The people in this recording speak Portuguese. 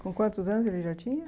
Com quantos anos ele já tinha?